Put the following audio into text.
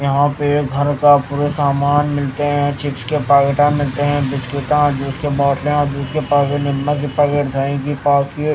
यहां पे घर का फूट सामान मिलते हैं चिप्स के पाकेटा मिलते हैं बिस्कुटा जूस के बोतलिया दूध की पैकेट निरमा की पैकेट दही की पाकी --